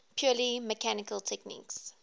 purely mechanical techniques